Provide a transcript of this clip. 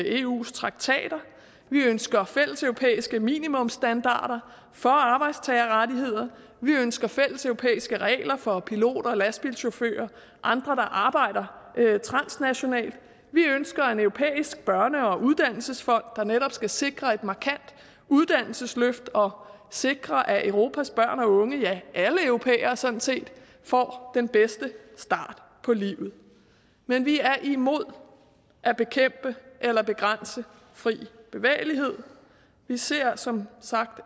eus traktater vi ønsker fælleseuropæiske minimumsstandarder for arbejdstagerrettigheder vi ønsker fælleseuropæiske regler for piloter og lastbilchauffører og andre der arbejder transnationalt vi ønsker en europæisk børne og uddannelsesfond der netop skal sikre et markant uddannelsesløft og sikre at europas børn og unge ja alle europæere sådan set får den bedste start på livet men vi er imod at bekæmpe eller begrænse fri bevægelighed vi ser som sagt